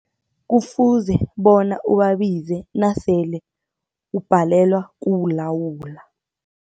Kufuze bona ubabize nasele ubhalelwa kuwulawula.